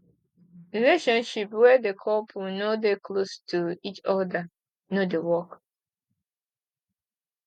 relationship wey de couple no dey close to each oda no dey work